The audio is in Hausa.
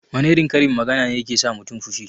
Wana irin karin magana ne yake sa mutun fushi?